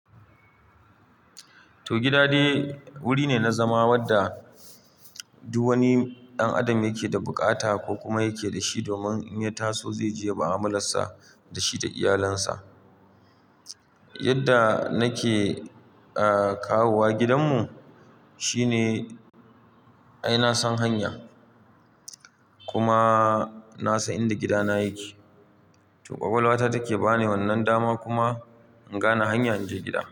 Toh gida dai wuri ne na zama wadda duk wani ɗan adam yake da buƙata ko kuma yake da shi domin in ya taso zai je yayi mu'amular sa da shi da iyalansa. Yadda nake, ah, kawowa gidanmu shine ai na san hanya. Kuma na san inda gidana yake. Toh, ƙwaƙwalwata take bani wannan dama kuma in gane hanya inje gida.